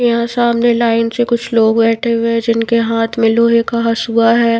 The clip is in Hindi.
यह सामने लाइन से कुछ लोग बैठे हुए है जिनके हाथ मे लोहे का हसुआ है।